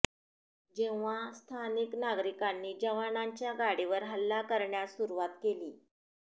जेव्हा स्थानिक नागरिकांनी जवानांच्या गाडीवर हल्ला करण्यास सुरुवात केली